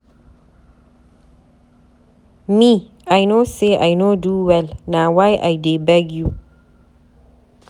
Me,I no say I no do well na why I dey beg you